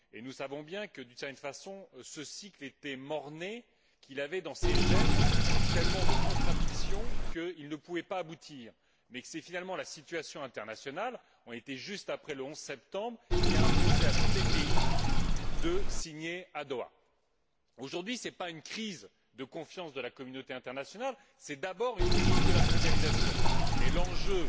Nous savons bien que, d'une certaine façon, ce cycle était mort né il portait dans ses gènes tellement de contradictions qu'il ne pouvait pas aboutir, mais c'est finalement la situation internationale nous étions juste après le 11 septembre qui a imposé à tous les pays de signer à Doha. Aujourd'hui, il ne s'agit pas d'une crise de confiance de la communauté internationale, mais d'abord d'une crise de la mondialisation, et l'enjeu